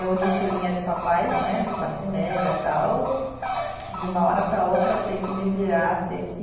Eu de filhinha de papais né, de classe média, tal, de uma hora para outra ter que me virar, ter que